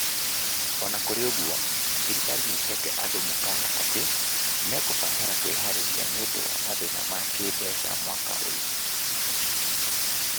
O na k?r? ?guo, thirikari n? ?heete and? m?kaana at? n? mek? batara kw?har? ria n? ?nd? wa math?na ma k??mbeca ma mwaka ?y?.